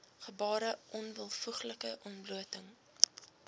gebare onwelvoeglike ontblooting